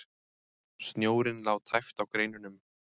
Snjórinn lá tæpt á greinunum.